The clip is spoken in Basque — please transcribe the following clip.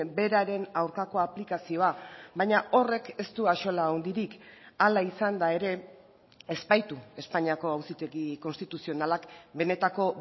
beraren aurkako aplikazioa baina horrek ez du axola handirik hala izan da ere ez baitu espainiako auzitegi konstituzionalak benetako